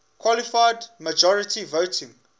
qualified majority voting